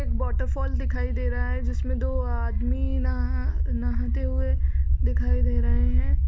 एक वॉटरफॉल दिखाई दे रहा है जिसमें दो आदमी नहा नहाते हुए दिखाई दे रहे हैं।